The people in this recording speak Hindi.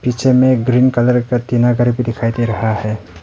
पीछे में एक ग्रीन कलर का टीना घर भी दिखाई दे रहा है।